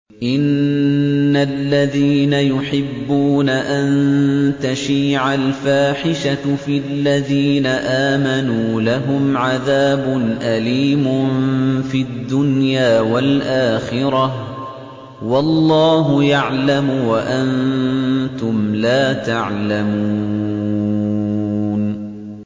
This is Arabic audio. إِنَّ الَّذِينَ يُحِبُّونَ أَن تَشِيعَ الْفَاحِشَةُ فِي الَّذِينَ آمَنُوا لَهُمْ عَذَابٌ أَلِيمٌ فِي الدُّنْيَا وَالْآخِرَةِ ۚ وَاللَّهُ يَعْلَمُ وَأَنتُمْ لَا تَعْلَمُونَ